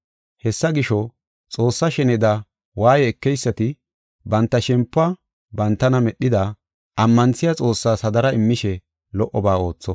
Hessa gisho, Xoossa sheneda waaye ekeysati banta shempuwa bantana medhida, ammanthiya Xoossas hadara immishe lo77oba ootho.